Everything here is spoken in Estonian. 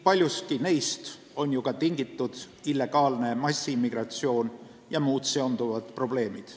Paljuski neist on ju ka tingitud illegaalne massiimmigratsioon ja muud seonduvad probleemid.